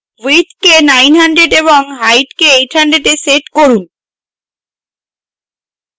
width কে 900 এবং height কে 800 এ set করুন